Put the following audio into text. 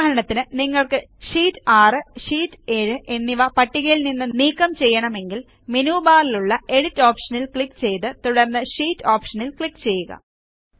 ഉദാഹരണത്തിന് നിങ്ങൾ ഷീറ്റ് 6ഷീറ്റ് 7 എന്നിവ പട്ടികയിൽ നിന്ന് നീക്കം ചെയ്യണമെങ്കിൽ മെനു ബാറിലുള്ള എഡിറ്റ് ഓപ്ഷനിൽ ക്ലിക്ക് ചെയ്ത് തുടർന്ന് ഷീറ്റ് ഓപ്ഷനിൽ ക്ലിക്ക് ചെയ്യുക